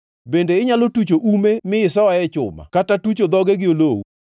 Bende inyalo tucho ume mi isoe chuma kata tucho dhoge gi olowu?